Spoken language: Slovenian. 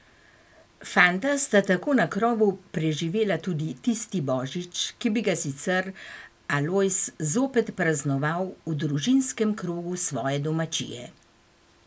Fanta sta tako na krovu preživela tudi tisti božič, ki bi ga sicer Alojz zopet praznoval v družinskem krogu svoje domačije.